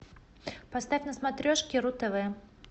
поставь на смотрешке ру тв